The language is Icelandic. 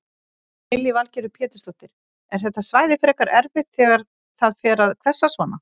Lillý Valgerður Pétursdóttir: Er þetta svæði frekar erfitt þegar það fer að hvessa svona?